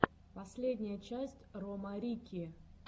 последняя часть рома рикки